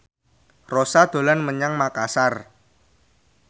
Rossa dolan menyang Makasar